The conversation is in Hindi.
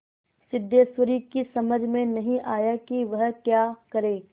सिद्धेश्वरी की समझ में नहीं आया कि वह क्या करे